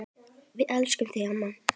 Við elskum þig amma.